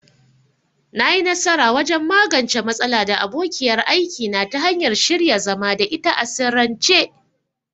Na yi nasara wajen magance matsala da abokiyar aiki na ta hanyar shirya zama da ita a sirrance.